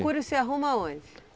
você arruma onde?